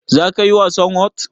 zakayi wasan whot?